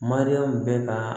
Mariyamu bɛ kaa